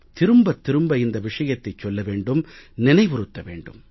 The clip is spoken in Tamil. திரும்பத் திரும்ப இந்த விஷயத்தைச் சொல்ல வேண்டும் நினைவுறுத்த வேண்டும்